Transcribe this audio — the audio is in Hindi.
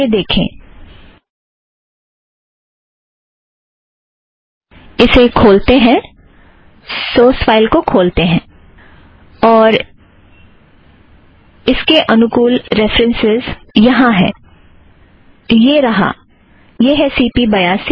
यह रहा - यह है सी पी बयासी